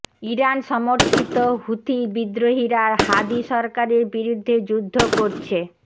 Iran সমর্থিত Houthi বিদ্রোহীরা Hadi সরকারের বিরুদ্ধে যুদ্ধ করছে